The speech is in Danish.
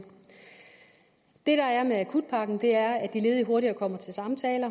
det der er med akutpakken er at de ledige hurtigere kommer til samtaler